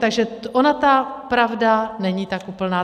Takže ona ta pravda není tak úplná.